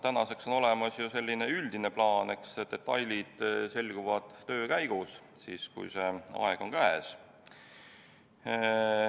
Tänaseks on olemas üldine plaan, eks detailid selguvad töö käigus, siis, kui aeg on käes.